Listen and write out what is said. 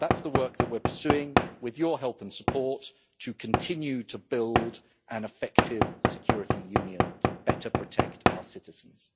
That's the work that we're pursuing, with your help and support, to continue to build an effective security union to better protect our citizens.